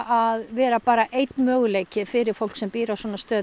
að vera einn möguleiki fyrir fólk sem býr á